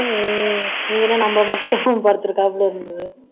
இதுல நம்ம மட்டும் படுத்துருக்காப்புல இருந்தது